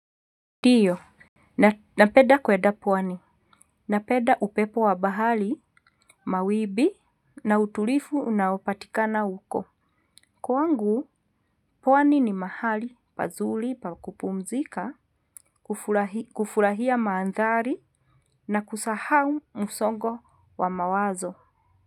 Ndio, napeda kwenda pwani. Napeda upepo wa bahari, mawimbi na utulivu unaopatikana huko. Kwangu, pwani ni mahali, pazuli pa kupumzika, kufurahia mandhari, na kusahau musongo wa mawazo.